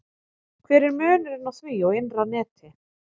Hver er munurinn á því og innra neti?